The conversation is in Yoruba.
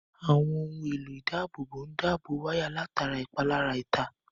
Àwọn ohun èlò ìdábòbò ń dábò wáyà látara ìpalára ìta